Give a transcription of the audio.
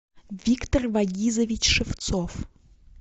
виктор вагизович шевцов